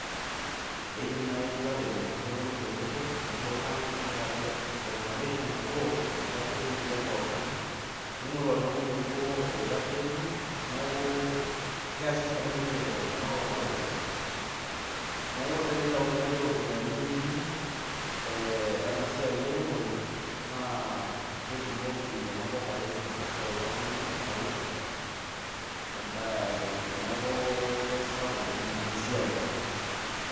Eidim naaji ilaremok nepuonu tenebo nibing'a neyau corporation nabo naitasheki ninche pookin. ningoru oltungani bobo oitasheki neeku keeshore ninche, ena corporation neeku tenitayuni naaji iropiyiani.ee ena siai eremore. naa ketumoki ena corporation aisho kulo tunganak faida. teneeku kisapuk ninye ena siai.